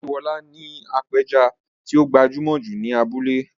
Ọláyíwọlá ni apẹja tí ó gbajúmọ̀ jù ní abúlé.